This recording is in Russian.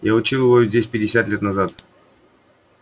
я учил его здесь пятьдесят лет назад